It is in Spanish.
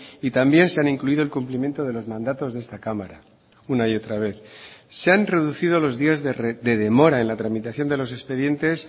y también se han incluido el cumplimiento de los mandatos de esta cámara una y otra vez se han reducido los días de demora en la tramitación de los expedientes